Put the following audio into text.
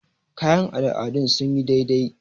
kayan al'adun sun yi dai dai